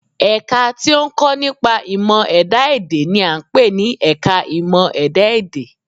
Ẹ̀ka tí ó ń kọ́ nípa ìmọ̀ ẹ̀dá-èdè n i à ń pè ní ẹka ìmọ̀ ẹ̀dá-èdè